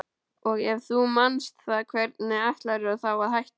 Og ef þú manst það hvernig ætlarðu þá að hætta?